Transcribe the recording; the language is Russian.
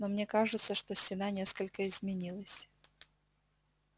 но мне кажется что стена несколько изменилась